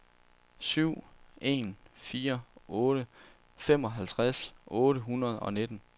syv en fire otte femoghalvtreds otte hundrede og nitten